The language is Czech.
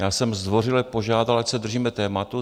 Já jsem zdvořile požádal, ať se držíme tématu.